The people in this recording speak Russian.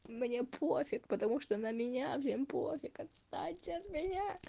мне пофиг потому что на меня всем пофиг отстаньте от меня